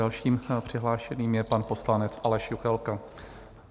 Dalším přihlášeným je pan poslanec Aleš Juchelka.